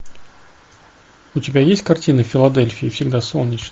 у тебя есть картина в филадельфии всегда солнечно